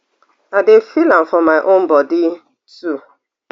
i dey feel am for my own body too